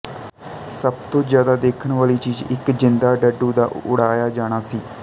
ਸਭ ਤੋਂ ਜਿਆਦਾ ਦੇਖਣ ਵਾਲੀ ਚੀਜ਼ ਇੱਕ ਜਿੰਦਾ ਡੱਡੂ ਦਾ ਉੜਾਇਆ ਜਾਣਾ ਸੀ